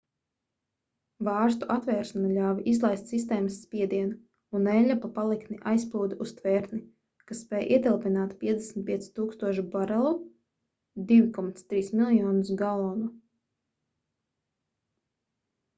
vārstu atvēršana ļāva izlaist sistēmas spiedienu un eļļa pa paliktni aizplūda uz tvertni kas spēj ietilpināt 55 000 barelu 2,3 miljonus galonu